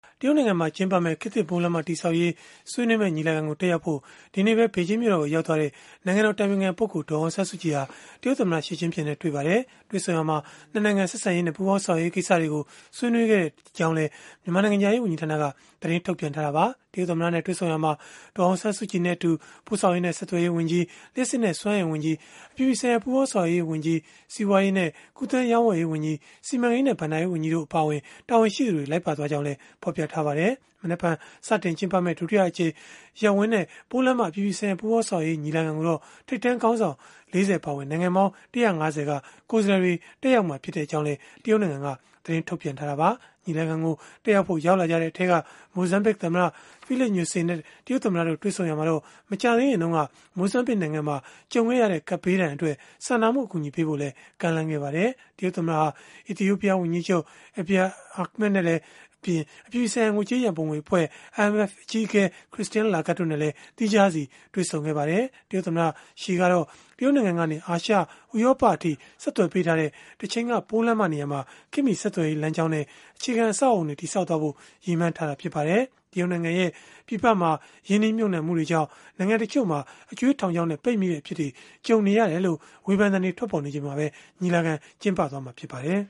တရုတ်နိုင်ငံမှာ ကျင်းပမယ့် ခေတ်သစ်ပိုးလမ်းမ တည်ဆောက်ရေး ဆွေးနွေးမယ့် ညီလာခံကို တက်ရောက်ဖို့ ဒီနေ့ပဲ ဘေဂျင်းမြို့တော်ကို ရောက်သွားတဲ့ နိုင်ငံတော် အတိုင်ပင်ခံပုဂ္ဂိုလ် ဒေါ်အောင်ဆန်းစုကြည်ဟာ တရုတ်သမ္မတ Xi Jingping နဲ့ တွေ့ဆုံပါတယ်။ တွေ့ဆုံရာမှာ ၂ နိုင်ငံ ဆက်ဆံရေးနဲ့ ပူးပေါင်းဆောင်ရွက်ရေး ကိစ္စတွေကို ဆွေးနွေးခဲ့ကြကြောင်းလည်း မြန်မာနိုင်ငံခြားရေး ဝန်ကြီးဌာနက သတင်းထုတ်ပြန်ထားတာပါ။ တရုတ်သမ္မတနဲ့ တွေ့ဆုံရာမှာ ဒေါ်အောင်ဆန်းစုကြည်နဲ့အတူ ပို့ဆောင်ရေးနဲ့ ဆက်သွယ်ရေးဝန်ကြီး၊ လျှပ်စစ်နဲ့ စွမ်းအင်ဝန်ကြီး၊ အပြည်ပြည်ဆိုင်ရာ ပူးပေါင်းဆောင်ရွက်ရေးဝန်ကြီး၊ စီးပွားရေးနဲ့ ကူးသန်းရောင်းဝယ်ရေးဝန်ကြီး၊ စီမံကိန်းနဲ့ ဘဏ္ဍာရေးဝန်ကြီးတို့ အပါအဝင် တာဝန်ရှိသူတွေ လိုက်ပါသွားခဲ့ကြောင်းလည်း ဖော်ပြထားပါတယ်။ မနက်ဖြန် ကျင်းပမယ့် ဒုတိယအကြိမ် ရပ်ဝန်းနဲ့ ပိုးလမ်းမ အပြည်ပြည်ဆိုင်ရာ ပူးပေါင်းဆောင်ရွက်ရေး ညီလာခံကိုတော့ ထိပ်တန်းခေါင်းဆောင် ၄၀ အပါအဝင် နိုင်ငံပေါင်း ၁၅၀ က ကိုယ်စားလှယ်တွေ တက်ရောက်မှာ ဖြစ်ကြောင်းလည်း တရုတ်နိုင်ငံက သတင်းထုတ်ပြန်ထားတာပါ။ ညီလာခံ တက်ရောက်ဖို့ ရောက်လာကြတဲ့ အထဲက မိုဇမ်ဘစ်သမ္မတ Filipe Nyusi နဲ့ တရုတ်သမ္မတ Xi Jingping တို့ တွေ့ဆုံရာမှာတော့ မကြာသေးခင်တုန်းက မိုဇမ်ဘစ်နိုင်ငံမှာ ကြုံခဲ့ရတဲ့ ကပ်ဘေးဒဏ်အတွက် စာနာမှု အကူအညီပေးဖို့လည်း ကမ်းလှမ်းခဲ့ပါတယ်။ တရုတ်သမ္မတဟာ အီသီယိုပီးယား ဝန်ကြီးချုပ် Abiy Ahmed နဲ့ အပြည်ပြည်ဆိုင်ရာ ငွေကြေးရန်ပုံငွေအဖွဲ့ (IMF) အကြီးအကဲ Christine Lagarde တို့နဲ့လည်း သီးခြားစီတွေ့ဆုံခဲ့ပါတယ်။ တရုတ်သမ္မတ Xi ကတော့ တရုတ်နိုင်ငံကနေ အာရှ၊ ဥရောပအထိ ဆက်သွယ်ပေးထားတဲ့ တချိန်က ပိုးလမ်းမနေရာမှာ ခေတ်မှီဆက်သွယ်ရေး လမ်းကြောင်းနဲ့ အခြေခံအဆောက်အအုံတွေ တည်ဆောက်သွားဖို့ ရည်မှန်းထားတာ ဖြစ်ပါတယ်။ တရုတ်နိုင်ငံရဲ့ ပြည်ပမှာ ရင်းနှီးမြှုပ်နှံမှုတွေကြောင့် နိုင်ငံတချို့မှာ အကြွေး ထောင်ချောက်နဲ့ ပိတ်မိတဲ့ အဖြစ်တွေ ကြုံနေရတယ်လို့ ဝေဖန်သံတွေ ထွက်ပေါ်နေချိန်မှာပဲ ညီလာခံ ကျင်းပနေတာလည်း ဖြစ်ပါတယ်။